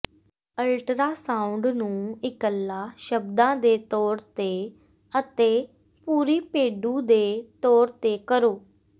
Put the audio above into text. ultrasound ਨੂੰ ਇੱਕਲਾ ਸ਼ਬਦਾਂ ਦੇ ਤੌਰ ਤੇ ਅਤੇ ਪੂਰੀ ਪੇਡੂ ਦੇ ਤੌਰ ਤੇ ਕਰੋ